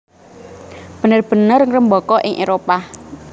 bener bener ngrembaka ing Éropah